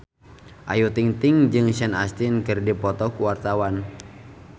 Ayu Ting-ting jeung Sean Astin keur dipoto ku wartawan